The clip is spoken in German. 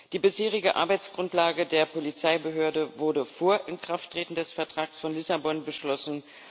Die bisherige Arbeitsgrundlage der Polizeibehörde wurde vor Inkrafttreten des Vertrags von Lissabon beschlossen.